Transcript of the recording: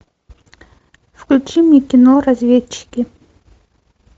включи мне кино разведчики